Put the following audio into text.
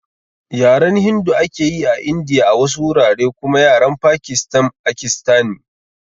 Yaren Hindu ake yi a Indiya a wasu wurare kuma Yaren Pakistan akistani